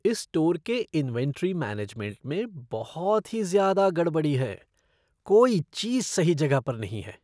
इस स्टोर के inventory management में बहुत ही ज्यादा गड़बड़ी है। कोई चीज़ सही जगह पर नहीं है।